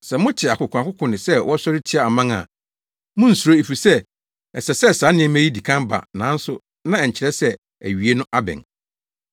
Sɛ mote akokoakoko ne sɛ wɔsɔre tia aman a, munnsuro efisɛ ɛsɛ sɛ saa nneɛma yi di kan ba nanso na ɛnkyerɛ sɛ awiei no abɛn.”